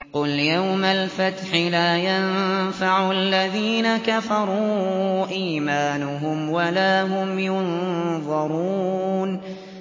قُلْ يَوْمَ الْفَتْحِ لَا يَنفَعُ الَّذِينَ كَفَرُوا إِيمَانُهُمْ وَلَا هُمْ يُنظَرُونَ